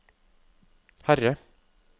Herre